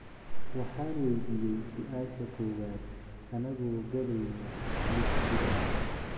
"Waxaan waydiiyey su'aasha koowaad anagoo galeyna liftigaas."